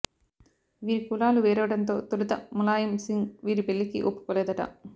వీరి కులాలు వెరవడంతో తొలుత ములాయం సింగ్ వీరి పెళ్ళికి ఒప్పుకోలేదట